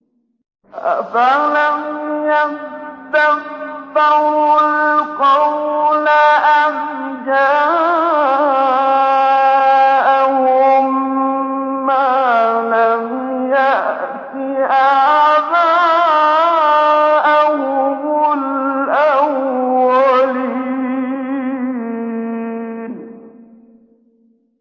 أَفَلَمْ يَدَّبَّرُوا الْقَوْلَ أَمْ جَاءَهُم مَّا لَمْ يَأْتِ آبَاءَهُمُ الْأَوَّلِينَ